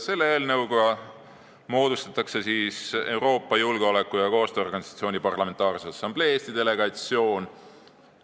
Selle eelnõuga moodustatakse Euroopa Julgeoleku- ja Koostööorganisatsiooni Parlamentaarse Assamblee Eesti delegatsioon.